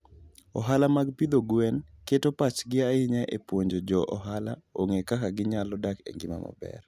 Ohala mag pidho gwen keto pachgi ahinya e puonjo jo ohala ong'e kaka ginyalo dak e ngima maber.